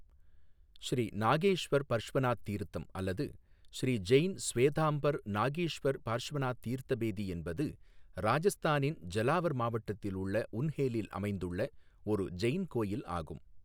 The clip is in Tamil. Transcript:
ஸ்ரீ நாகேஸ்வர் பர்ஷ்வநாத் தீர்த்தம் அல்லது ஸ்ரீ ஜெயின் ஸ்வேதாம்பர் நாகேஷ்வர் பர்ஷ்வநாத் தீர்த்த பேதி என்பது ராஜஸ்தானின் ஜலாவர் மாவட்டத்தில் உள்ள உன்ஹேலில் அமைந்துள்ள ஒரு ஜெயின் கோவில் ஆகும்.